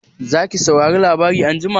Zaki saurari labarai anjima?